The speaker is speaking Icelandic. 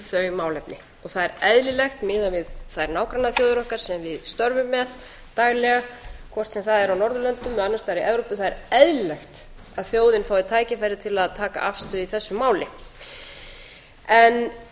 þau málefni það er eðlilegt miðað við þær nágrannaþjóðir okkar sem við störfum með daglega hvort sem það er á norðurlöndum eða annars staðar í evrópu það er eðlilegt að þjóðin fái tækifæri til að taka afstöðu í þessu máli hér hefur